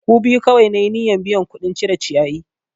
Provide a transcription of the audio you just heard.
Ku biyu kawai na yi niyyan biya kuɗin cire ciyayi!